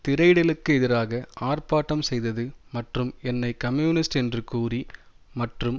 திரையிடலுக்கு எதிராக ஆர்ப்பாட்டம் செய்தது மற்றும் என்னை கம்யூனிஸ்ட் என்று கூறி மற்றும்